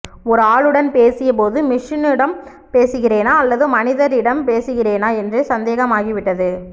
ஒரு ஆளுடன் பேசிய போது மெஷினுடன் பேசுகிறேனா அல்லது மனிதரிடம் பேசுகிறேனா என்றே சந்தேகம் ஆகி விட்டது